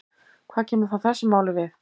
Hvað kemur það þessu máli við?